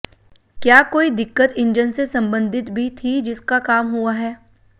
क्या काेई दिक़्क़त इंजन से संबंधित भी थी जिसका काम हुआ है